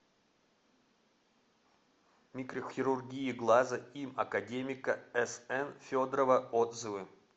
микрохирургия глаза им академика сн федорова отзывы